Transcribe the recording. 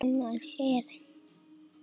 Annars er ég sátt!